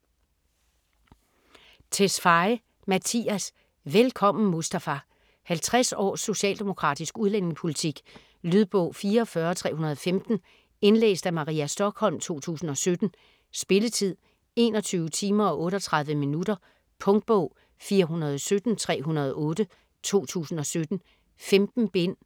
Tesfaye, Mattias: Velkommen Mustafa 50 års socialdemokratisk udlændingepolitik. Lydbog 44315 Indlæst af Maria Stokholm, 2017. Spilletid: 21 timer, 38 minutter. Punktbog 417308 2017. 15 bind.